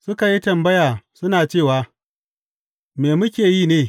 Suka yi tambaya suna cewa, Me muke yi ne?